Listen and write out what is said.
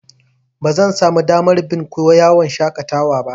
Bazan samu damar bin ku yawan shaƙatawa ba.